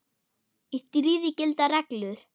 Í stríði gilda reglur.